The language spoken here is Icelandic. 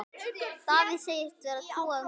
Davíð segist vera trúaður maður.